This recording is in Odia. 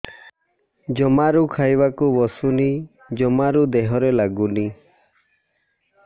ଜମାରୁ ଖାଇବାକୁ ବସୁନି ଜମାରୁ ଦେହରେ ଲାଗୁନି